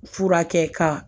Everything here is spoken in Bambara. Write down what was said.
Fura kɛ ka